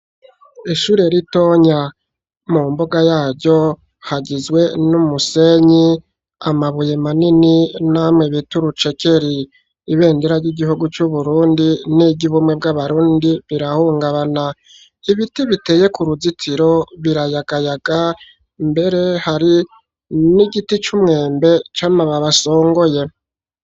Ishure ritonya, mu mbuga yaryo, hagizwe n'umusenyi, amabuye manini, n'amwe bita urucekeri; ibendera ry'igihugu, c'Uburundi, n'iry'ubumwe bw'abarundi, birahungabana; ibiti, biteye ku ruzitiro, birayagayaga; mbere, hari n'igiti c'umwembe, c'amababi asongoye.